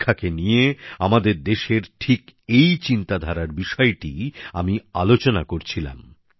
শিক্ষাকে নিয়ে আমাদের দেশের ঠিক এই চিন্তাধারার বিষয়টিই আমি আলোচনা করছিলাম